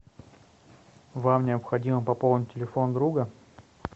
вам необходимо пополнить телефон друга